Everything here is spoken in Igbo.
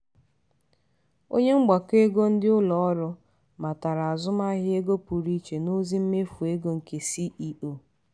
onye mgbakọ ego ndị ụlọ ọrụ matara azụmahịa ego pụrụ iche n'ozi mmefụ ego nke ceo.